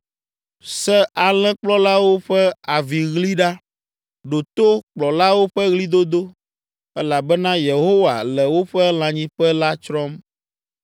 Se alẽkplɔlawo ƒe aviɣli ɖa; ɖo to kplɔlawo ƒe ɣlidodo, elabena Yehowa le woƒe lãnyiƒe la tsrɔ̃m.